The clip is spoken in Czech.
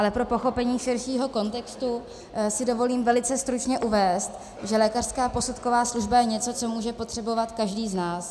Ale pro pochopení širšího kontextu si dovolím velice stručně uvést, že lékařská posudková služba je něco, co může potřebovat každý z nás.